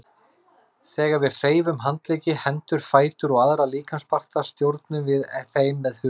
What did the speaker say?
Þegar við hreyfum handleggi, hendur, fætur og aðra líkamsparta stjórnum við þeim með huganum.